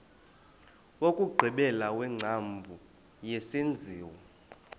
wokugqibela wengcambu yesenziwa